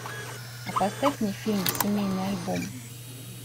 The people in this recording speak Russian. а поставь мне фильм семейный альбом